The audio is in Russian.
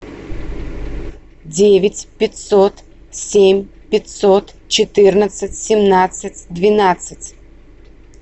девять пятьсот семь пятьсот четырнадцать семнадцать двенадцать